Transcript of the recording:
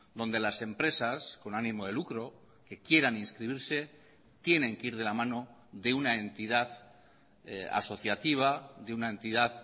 donde las empresas con ánimo de lucro que quieran inscribirse tienen que ir de la mano de una entidad asociativa de una entidad